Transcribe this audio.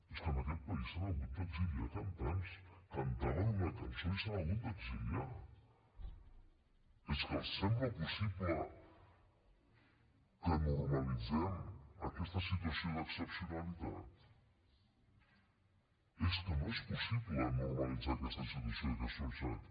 és que en aquest país s’han hagut d’exiliar cantants cantaven una cançó i s’han hagut d’exiliar és que els sembla possible que normalitzem aquesta situació d’excepcionalitat és que no és possible normalitzar aquesta situació d’excepcionalitat